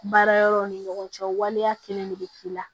Baara yɔrɔw ni ɲɔgɔn cɛ waleya kelen de bɛ k'i la